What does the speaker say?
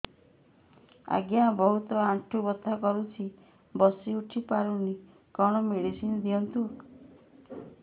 ଆଜ୍ଞା ବହୁତ ଆଣ୍ଠୁ ବଥା କରୁଛି ବସି ଉଠି ପାରୁନି କଣ ମେଡ଼ିସିନ ଦିଅନ୍ତୁ